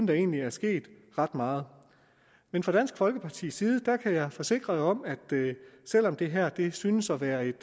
der egentlig er sket ret meget men fra dansk folkepartis side kan jeg forsikre om at selv om det her synes at være et